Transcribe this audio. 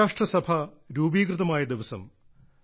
ഐക്യരാഷ്ട്രസഭ രൂപീകൃതമായ ദിവസം